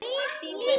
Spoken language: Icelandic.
Þín Guðný.